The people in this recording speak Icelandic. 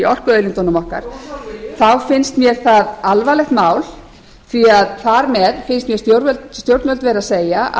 orkuauðlindunum okkar þá finnst mér það alvarlegt mál því þar með finnst mér stjórnvöld vera